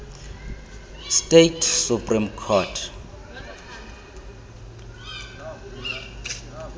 states supreme court